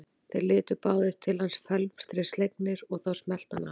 Þeir litu báðir til hans felmtri slegnir og þá smellti hann af.